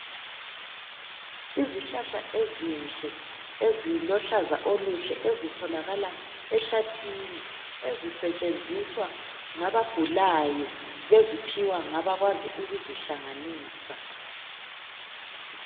Izihlahla ezinhle ezilohlaza oluhle ezitholakala ehlathini. Ezisetshenziswa ngabagulayo beziphiwa ngabakwazi ukuzihlanganisa.